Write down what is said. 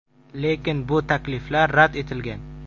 Lekin bu takliflar rad etilgan.